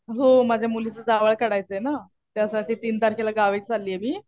हो माझ्या मुलीचं जावळ काढायचं ना. त्यासाठी तीन तारखेला गावी चाललीये मी.